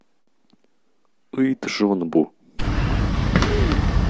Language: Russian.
ыйджонбу